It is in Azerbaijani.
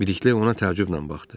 Bilikli ona təəccüblə baxdı.